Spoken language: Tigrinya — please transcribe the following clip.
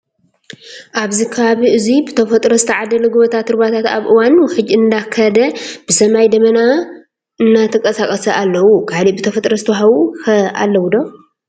ኣብዚ ከባቢ እዙይ ብተፈጥሮ ዝተዓደለ ጎቦታት ሩባታት ኣብ እዋን ውሕጅ እንዳከደ ብሰማይ ድማ ደበና አንዳተቃሳቀሱ ኣለው። ካሊእ ብተፈጥሮ ዝተወሃቡ ከ ኣለው ዶ ?